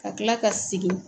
Ka kila ka segin